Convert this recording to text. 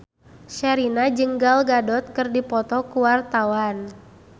Sherina jeung Gal Gadot keur dipoto ku wartawan